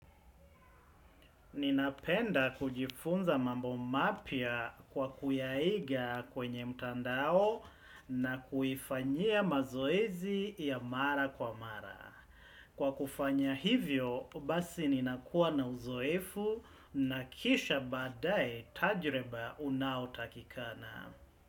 Ninapenda kujifunza mambo mapya kwa kuyaiga kwenye mtandao na kuifanyia mazoezi ya mara kwa mara. Kwa kufanya hivyo, basi ninakuwa na uzoefu na kisha badaae tajriba unaotakikana.